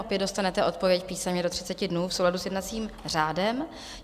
Opět dostanete odpověď písemně do 30 dnů v souladu s jednacím řádem.